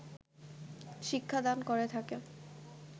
শিক্ষা দান করে থাকে